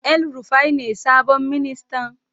El Rufai ne sabon ministan?